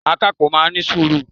Akápò náà ní sùúrù